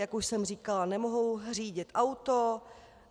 Jak už jsem říkala, nemohou řídit auto.